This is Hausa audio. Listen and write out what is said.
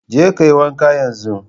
Je ka yi wanka yanzu.